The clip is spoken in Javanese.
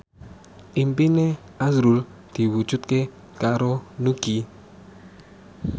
impine azrul diwujudke karo Nugie